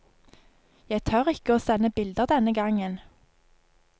Jeg tør ikke å sende bilder denne gangen.